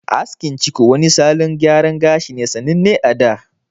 Askin ciko wani salon gyara gashi ne sananne a da.